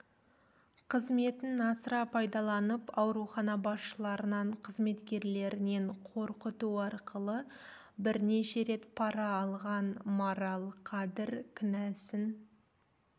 қызметін асыра пайдаланып аурухана басшыларынан қызметкерлерінен қорқыту арқылы бірнеше рет пара алған марал қадыр кінәсін